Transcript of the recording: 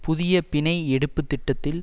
புதிய பிணை எடுப்பு திட்டத்தில்